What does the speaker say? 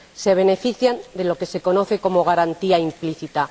Se benefician de lo que se conoce como garantía implícita.